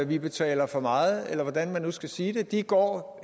vi betaler for meget eller hvordan man nu skal sige det ikke går